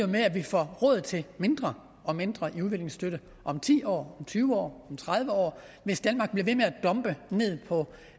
med at vi får råd til mindre og mindre udviklingsstøtte om ti år om tyve år om tredive år hvis danmark bliver ved med at dumpe på